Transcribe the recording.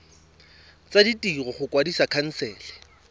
tsa ditiro go kwadisa khansele